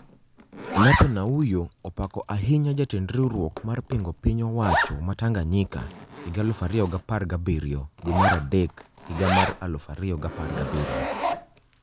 Nape Nnauye opako ahinya jatend riwruok mar pingo piny owacho ma Tanganyika 2017 dwe mar adek higa mar 2017